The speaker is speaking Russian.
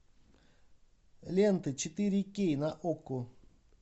лента четыре кей на окко